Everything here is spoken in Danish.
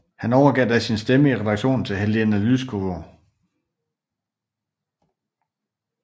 Han overgav da sin stemme i redaktionen til Helena Łuczywo